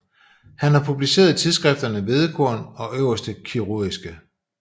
Han har publiceret i tidsskrifterne Hvedekorn og Øverste Kirurgiske